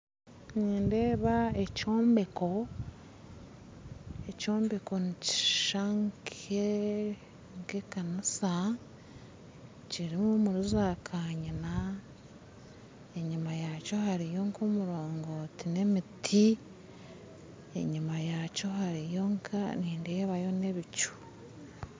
Nindeeba ekyombeko ekyombeko nikishishana nka ekanisa kiri omuza kanyina enyima yakyo hariyo nka omurongoti n'emiti enyima yakyo nindeebayo nebicu